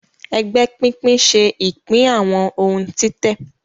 Ègbé pínpín ṣe ipin àwọn òun títè.